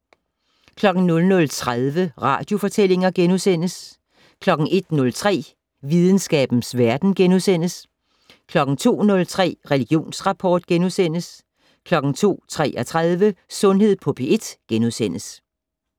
00:30: Radiofortællinger * 01:03: Videnskabens Verden * 02:03: Religionsrapport * 02:33: Sundhed på P1 *